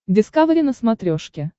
дискавери на смотрешке